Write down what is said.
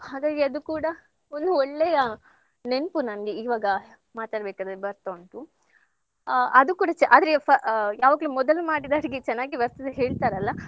ಹಾಗಾಗಿ ಅದು ಕೂಡಾ ಒಂದು ಒಳ್ಳೆಯ ನೆನ್ಪು ನಂಗೆ ಇವಾಗ ಮಾತಾಡಬೇಕಾದ್ರೆ ಬರ್ತಾ ಉಂಟು. ಆ ಅದು ಕೂಡಾ ಆದ್ರೆ ಫ~ ಯಾವಾಗ್ಲೂ ಮೊದಲು ಮಾಡಿದ ಅಡಿಗೆ ಚನ್ನಾಗಿ ಬರ್ತದೆ ಹೇಳ್ತಾರಲ್ಲ.